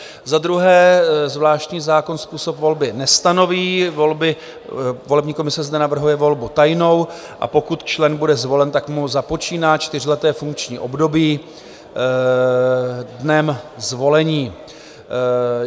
Za druhé, zvláštní zákon způsob volby nestanoví, volební komise zde navrhuje volbu tajnou, a pokud člen bude zvolen, tak mu započíná čtyřleté funkční období dnem zvolení.